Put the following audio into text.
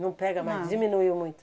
Não pega mais, diminuiu muito.